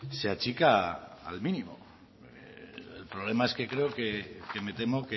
se achica al mínimo el problema es que creo que me temo